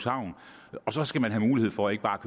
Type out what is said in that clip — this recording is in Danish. så skal man have mulighed for ikke bare